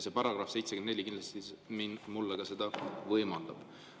Paragrahv 74 mulle seda võimaldab.